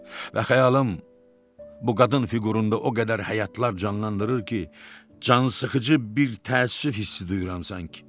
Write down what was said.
Və xəyalım bu qadın fiqurunda o qədər həyatlar canlandırır ki, cansıxıcı bir təəssüf hissi duyuram sanki.